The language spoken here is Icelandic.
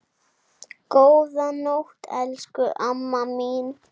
Góða nótt, elsku amma mín.